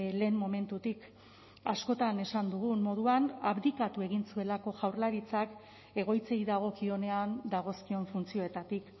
lehen momentutik askotan esan dugun moduan abdikatu egin zuelako jaurlaritzak egoitzei dagokionean dagozkion funtzioetatik